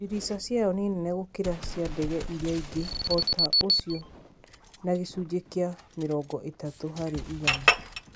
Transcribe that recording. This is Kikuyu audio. Dirica ciayo nĩ nene gũkĩra cia ndege irĩa ingĩ ota ũcio na gĩcunjĩ kĩa mĩrongo ĩtatũ harĩ igana